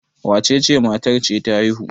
wacece matar ce ta haihu?